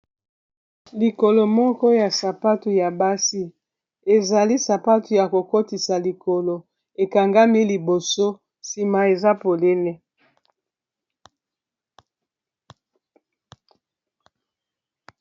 Likolo moko ya sapatu ya basi, ezali sapatu ya kokotisa likolo ekangami liboso nsima eza polele.